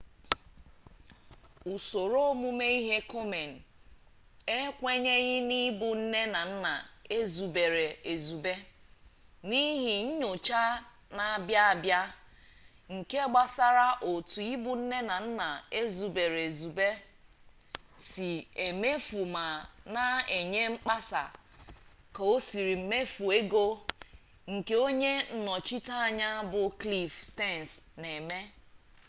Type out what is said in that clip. usoro omume ihe komen ekwenyeghị n'ịbụ nne na nna ezubere ezube n'ihi nyocha na-abịa abịa nke gbasara otu ịbụ nne na nna ezubere ezube si emefu ma na enye mkpesa ka osiri mefu ego nke onye nnọchiteanya bụ kliff stens na-eme